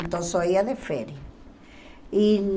Então só ia de férias. E